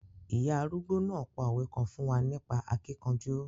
Ìya arúgbó náà pa òwe kan fún wa nípa akíkanjú.